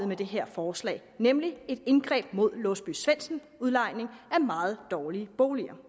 med det her forslag nemlig et indgreb mod låsby svendsen udlejning af meget dårlige boliger